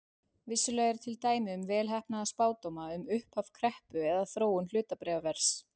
Vissulega eru til dæmi um vel heppnaða spádóma um upphaf kreppu eða þróun hlutabréfaverðs.